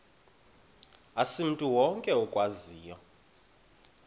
asimntu wonke okwaziyo